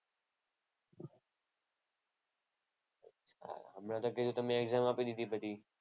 મેં તો કીધું તમે exam આપી દીધી બધી.